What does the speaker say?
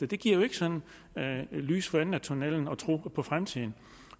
det giver ikke sådan lys for enden af tunnellen ikke tro på fremtiden